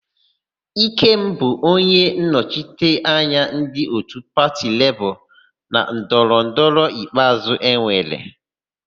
Ikem bụ onyennọchite anya ndị òtù pati Lebọọ na ndọrọndọrọ ikpeazụ enwere.